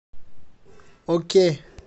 окей